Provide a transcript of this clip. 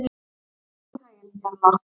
Gangi þér allt í haginn, Jarla.